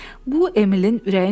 Bu Emilin ürəyincə deyildi.